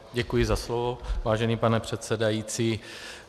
Děkuji za slovo, vážený pane předsedající.